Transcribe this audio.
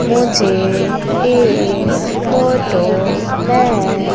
मुझे इस फोटो में--